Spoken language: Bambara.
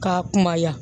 K'a kunbaya